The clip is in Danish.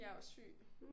Jeg var syg